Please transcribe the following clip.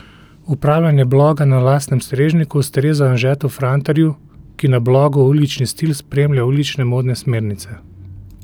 Upravljanje bloga na lastnem strežniku ustreza Anžetu Frantarju, ki na blogu Ulični stil spremlja ulične modne smernice.